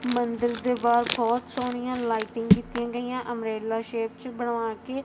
ਮੰਦਰ ਦੇ ਬਾਹਰ ਬਹੁਤ ਸੋਹਣੀਆਂ ਲਾਈਟਿੰਗ ਕੀਤੀਆਂ ਗਈਆਂ ਅੰਬਰੇਲਾ ਸ਼ੇਪ 'ਚ ਬਣਵਾ ਕੇ--